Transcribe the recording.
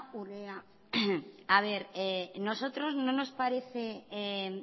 urrea a ver nosotros no nos parece